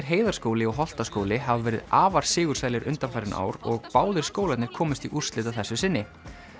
Heiðarskóli og Holtaskóli hafa verið afar sigursælir undanfarin ár og báðir skólarnir komust í úrslit að þessu sinni